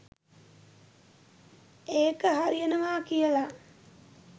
ඒක හරියනවා කියලා.